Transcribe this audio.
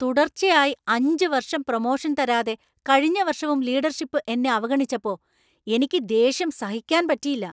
തുടർച്ചയായി അഞ്ച് വർഷം പ്രമോഷൻ തരാതെ കഴിഞ്ഞ വർഷവും ലീഡർഷിപ്പ് എന്നെ അവഗണിച്ചപ്പോ എനിക്ക് ദേഷ്യം സഹിക്കാൻ പറ്റിയില്ല.